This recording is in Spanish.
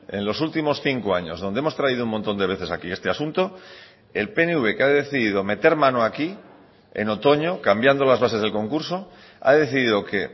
en los últimos cinco años donde hemos traído un montón de veces aquí este asunto el pnv que ha decidido meter mano aquí en otoño cambiando las bases del concurso ha decidido que